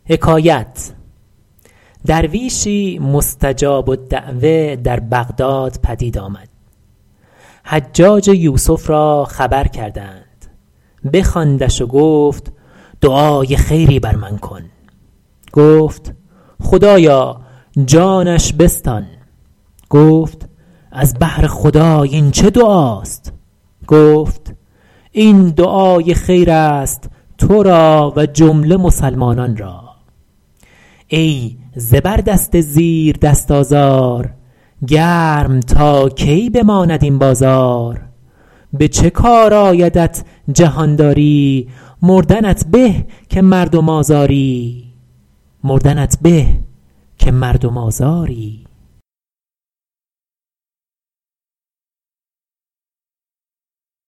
درویشی مستجاب الدعوة در بغداد پدید آمد حجاج یوسف را خبر کردند بخواندش و گفت دعای خیری بر من بکن گفت خدایا جانش بستان گفت از بهر خدای این چه دعاست گفت این دعای خیر است تو را و جمله مسلمانان را ای زبردست زیردست آزار گرم تا کی بماند این بازار به چه کار آیدت جهانداری مردنت به که مردم آزاری